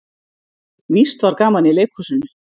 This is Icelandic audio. Víst var gaman í leikhúsinu.